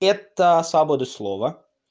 это свобода слова